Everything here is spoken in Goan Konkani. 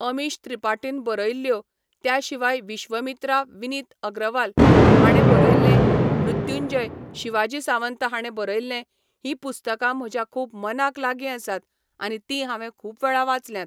अमीश त्रिपाटीन बरयल्ल्यो, त्या शिवाय 'विश्वमित्रा' विनीत अग्रवाल हाणें बरयल्लें, 'मृत्युंजय' शिवाजी सावंत हाणें बरयल्लें हीं पुस्तकां म्हज्या खूब मनाक लागीं आसात आनी तीं हांवें खूब वेळा वाचल्यात.